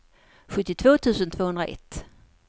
sjuttiotvå tusen tvåhundraett